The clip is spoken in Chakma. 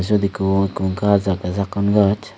eyot ekko ekko gaj agey sakon gaj.